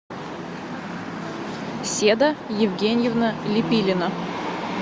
седа евгеньевна лепилина